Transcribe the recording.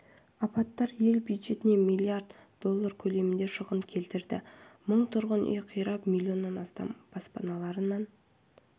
апаттар ел бюджетіне миллиард доллары көлемінде шығын келтірді мың тұрғын үй қирап миллион адам баспаналарын